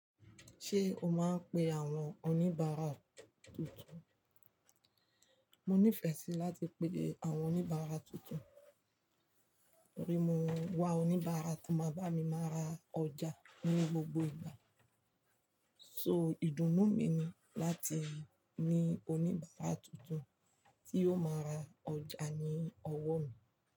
Ṣé o máa ń pe àwọn oníbàárà tuntun? Mo nífẹ̀ẹ́ sí láti pèdè àwọn oníbàárà tuntun, torí mo wà oníbàárà tó máa bá mi máa ra ọjà ní gbogbo ìgbà. So ìdùnnú mi ni láti ní oníbàárà tuntun tí yóò máa ra ọjà ní ọwọ́ mi.